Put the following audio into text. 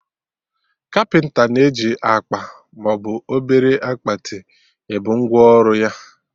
Kapịnta na-eji akpa maọbụ obere akpati ebu ngwa ọrụ ya